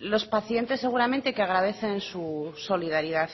los pacientes seguramente que agradecen su solidaridad